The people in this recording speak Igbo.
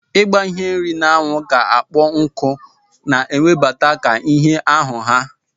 Igba ihe nri na anwu ka ọkpọ nku na ewebelata ka ihe ahu ha.